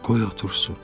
Qoy otursun.